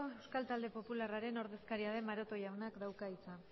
euskal talde popularraren ordezkaria den maroto jaunak dauka hitza